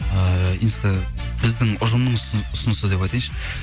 ыыы біздің ұжымымыз ұсынысы деп айтайыншы